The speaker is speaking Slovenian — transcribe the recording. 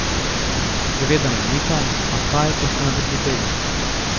Seveda me mika, a kaj, ko sta me prehiteli!